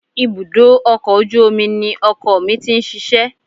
Ibùdó ọkọ̀ ojú omi ni ọkọ mi ti ń ṣiṣẹ́